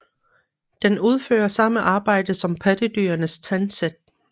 Den udfører samme arbejde som pattedyrenes tandsæt